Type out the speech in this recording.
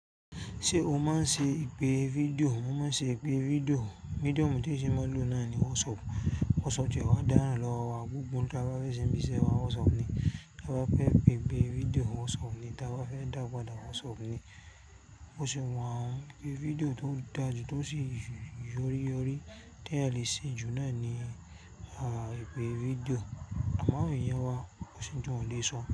Ṣé o máa ń ṣe ìpè fídíò? Mo máa ń ṣe ìpè fídíò. Medium tí mo si máa ń lò náà ni WhatsApp. WhatsApp tiẹ wá dáràn lọ́wọ́ wa gbogbo oun tí a bá fẹ́ ṣe ń ibíṣẹ́ wa WhatsApp ni, tí a bá fẹ́ gbé fídíò WhatsApp ni, tí a bá fẹ́ daapada WhatsApp ni. Bo ṣe wa un pé fídíò tó dára jù tó sì yori yori tí ẹ̀ lè ṣe jù náà ní ìpè fídíò. Àmọ́ àwọn èèyàn wá, kó sí oùn ti wọn ò le sọ.